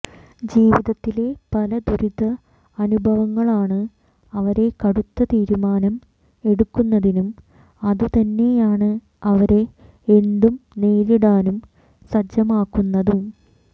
ജിവിതത്തിലെ പല ദുരിത അനുഭവങ്ങളാണ് അവരെ കടുത്ത തീരുമാനം എടുക്കുന്നതിനും അതുതന്നെയാണ് അവരെ എന്തും നേരിടാനും സജ്ജമാക്കുന്നതും